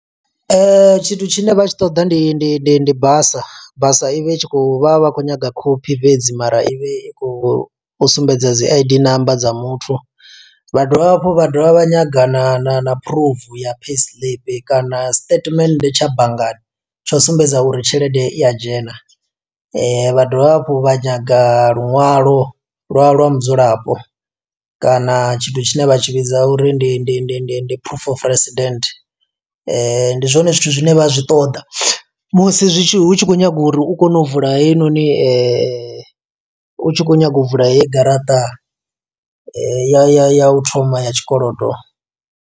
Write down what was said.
Tshithu tshine vha tshi ṱoḓa ndi ndi ndi ndi basa, basa i vhe i tshi khou, vha vha khou nyaga khophi fhedzi, mara i vhe i khou sumbedza dzi I_D number dza muthu. Vha dovha hafhu vha dovha vha nyaga na na na proof ya payslip kana statement tsha banngani tsho sumbedza uri tshelede i ya dzhena. Vha dovha hafhu vha nyaga lunwalo lwa lwa mudzulapo kana, tshithu tshine vha tshi vhidza uri ndi ndi ndi ndi ndi proof of resident. Ndi zwone zwithu zwine vha zwi ṱoḓa musi zwi tshi hu tshi khou nyaga uri u kone u vula heinoni, u tshi khou nyaga u vula heyi garaṱa ya ya ya u thoma ya tshikolodo.